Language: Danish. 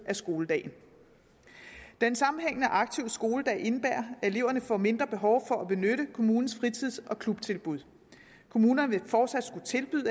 af skoledagen den sammenhængende aktive skoledag indebærer at eleverne får mindre behov for at benytte kommunens fritids og klubtilbud kommunerne vil fortsat skulle tilbyde